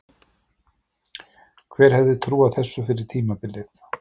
Hver hefði trúað þessu fyrir tímabilið?